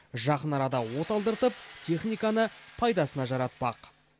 жақын арада оталдыртып техниканы пайдасына жаратпақ